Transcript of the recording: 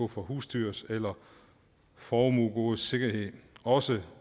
for husdyrs eller formuegoders sikkerhed også